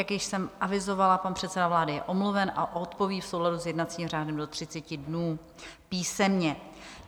Jak již jsem avizovala, pan předseda vlády je omluven a odpoví v souladu s jednacím řádem do 30 dnů písemně.